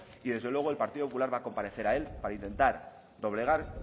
y desde luego el partido popular va a comparecer a él para intentar doblegar